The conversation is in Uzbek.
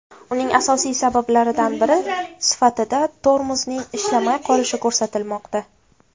Uning asosiy sabablaridan biri sifatida tormozning ishlamay qolishi ko‘rsatilmoqda.